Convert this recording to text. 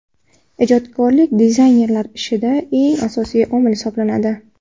Ijodkorlik dizaynerlar ishida eng asosiy omil hisoblanadi.